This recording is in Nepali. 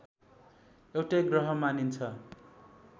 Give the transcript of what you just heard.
एउटै ग्रह मानिन्छ